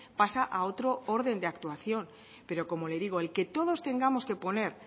pasa a otro orden de actuación pero como le digo el que todos tengamos que poner